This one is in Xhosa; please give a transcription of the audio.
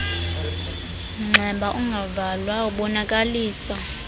mnxeba ungavalwayo ubonakalisa